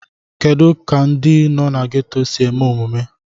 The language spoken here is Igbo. Kedu ka ndị nọ na gétò si eme omume